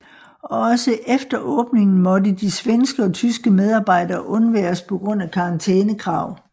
Og også efter åbningen måtte de svenske og tyske medarbejdere undværes på grund af karantænekrav